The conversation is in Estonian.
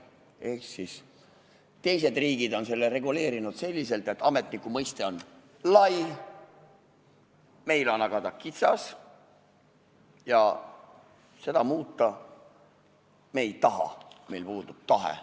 Esiteks, teised riigid on reguleerinud selliselt, et ametniku mõiste on lai, meil on aga see kitsas ja seda muuta me ei taha, meil puudub tahe.